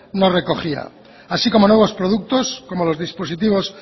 no recogía así como nuevos productos como los dispositivos